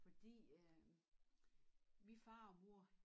Fordi øh min far og mor